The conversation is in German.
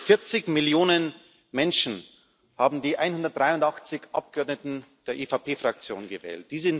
40 Millionen Menschen haben die 183 Abgeordneten der EVP Fraktion gewählt.